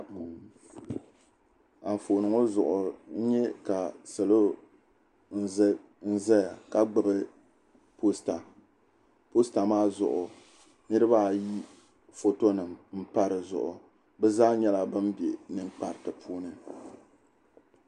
Anfooni ŋɔ zuɣu n nyɛ ka salɔ n ʒɛya ka gbubi poosta poosta maa zuɣu niraba ayi foto n pa dizuɣu bi zaa nyɛla bin bɛ ninkpariti puuni